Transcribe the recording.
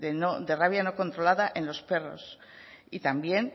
de rabia no controlada en los perros y también